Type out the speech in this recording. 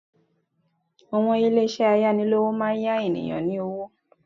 Àwọn ilé ìṣẹ́ ayánilówó máa n yá àwọn ènìyàn ní owó